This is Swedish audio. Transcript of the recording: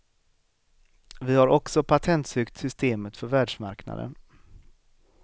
Vi har också patentsökt systemet för världsmarknaden.